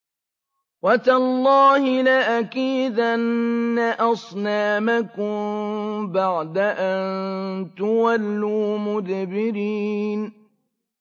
وَتَاللَّهِ لَأَكِيدَنَّ أَصْنَامَكُم بَعْدَ أَن تُوَلُّوا مُدْبِرِينَ